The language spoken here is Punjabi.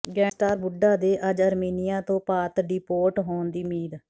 ਗੈਂਗਸਟਰ ਬੁੱਢਾ ਦੇ ਅੱਜ ਆਰਮੀਨੀਆ ਤੋਂ ਭਾਰਤ ਡਿਪੋਰਟ ਹੋਣ ਦੀ ਉਮੀਦ